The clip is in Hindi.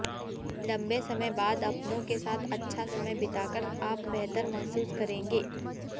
लंबे समय बाद अपनों के साथ अच्छा समय बिताकर आप बेहतर महसूस करेंगे